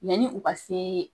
ni u ka se